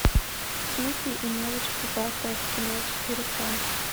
снупи и мелочь пузатая в кино четыре ка